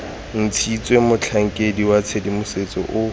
ntshitswe motlhankedi wa tshedimosetso o